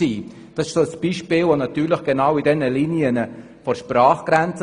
Das ist ein Beispiel entlang der Sprachgrenze.